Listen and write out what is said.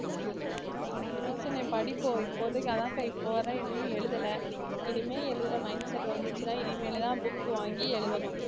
சும்மா சொன்னேன் படிப்போம் இப்போதைக்கு அதான்க்கா இப்ப வர எதுவும் எழுதல இனிமே எழுதுற mindset வந்துச்சுன்னா இனிமேலு தான் book வாங்கி எழுதணும்